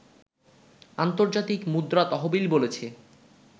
আন্তর্জাতিক মুদ্রা তহবিল বলেছে